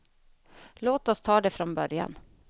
Låt oss ta det från början.